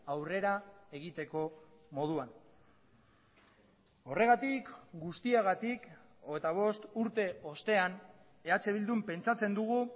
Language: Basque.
aurrera egiteko moduan horregatik guztiagatik hogeita bost urte ostean eh bildun pentsatzen dugu